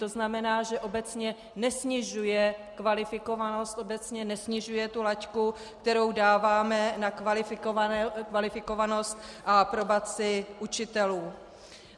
To znamená, že obecně nesnižuje kvalifikovanost, obecně nesnižuje tu laťku, kterou dáváme na kvalifikovanost a aprobaci učitelů.